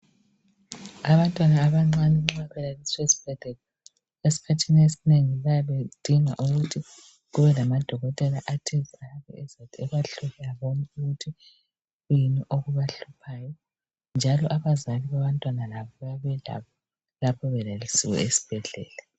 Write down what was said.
Abantwana abancane nxa belaliswe esibhedlela , eskhathini esinengi bayabedinga ukuthi kubelamadokotela athize , azathi ebahlola bonke ukuthi kuyini okubahluphayo njalo abazali babantwana laba bayabalabo lapho belaliswe esibhedlela